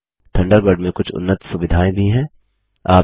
Thunderbird में कुछ उन्नत सुविधाएँ भी हैं